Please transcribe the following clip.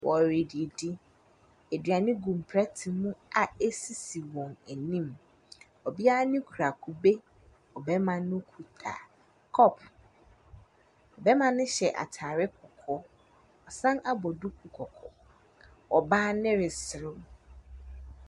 Wɔre didi. Aduane gum mpɛɛte mu ɛsisi wɔn anim. Ɔbea ne kura kube. Ɔbɛɛma no kuta kɔp. Bɛɛma ne hyɛ ataare kɔkɔɔ. Wasan abɔ duku kɔkɔɔ. Ɔbaa no resrew.